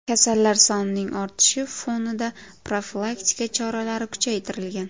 Kasallar sonining ortishi fonida profilaktika choralari kuchaytirilgan.